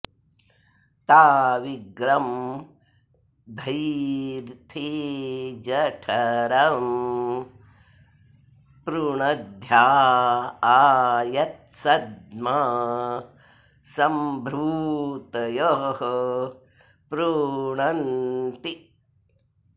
ता वि॒ग्रं धै॑थे ज॒ठरं॑ पृ॒णध्या॒ आ यत्सद्म॒ सभृ॑तयः पृ॒णन्ति॑